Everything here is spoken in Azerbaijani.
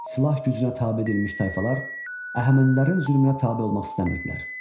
Silah gücünə tabe edilmiş tayfalar Əhəmənilərin zülmünə tabe olmaq istəmirdilər.